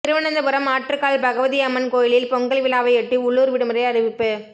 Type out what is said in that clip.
திருவனந்தபுரம் ஆற்றுக்கால் பகவதி அம்மன் கோயிலில் பொங்கல் விழாவையொட்டி உள்ளூர் விடுமுறை அறிவிப்பு